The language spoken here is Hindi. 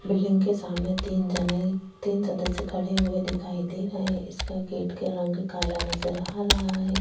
बिल्डिंग के सामने तीन झने तीन सदस्य खड़े हुए दिखाई दे रहै है इसका गेट का रंग काला नजर आ रहा है।